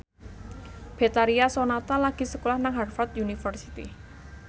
Betharia Sonata lagi sekolah nang Harvard university